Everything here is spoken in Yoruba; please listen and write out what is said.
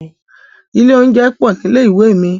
Ilé oúnjẹ pọ̀ nílé ìwé mi.